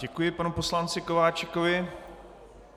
Děkuji panu poslanci Kováčikovi.